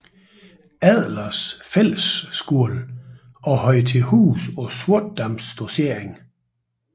Adlers Fællesskole og havde til huse på Sortedam Dossering